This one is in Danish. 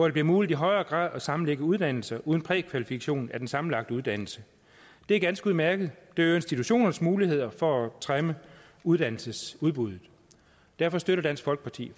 det bliver muligt i højere grad at sammenlægge uddannelser uden prækvalifikation af den sammenlagte uddannelse det er ganske udmærket det øger institutionernes muligheder for at trimme uddannelsesudbuddet derfor støtter dansk folkeparti